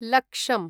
लक्षम्